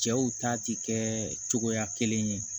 Cɛw ta ti kɛ cogoya kelen ye